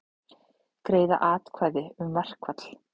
Greiða atkvæði um verkfall